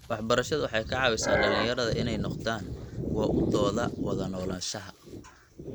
Waxbarashadu waxay ka caawisaa dhalinyarada inay noqdaan kuwa u doodo wada noolaanshaha.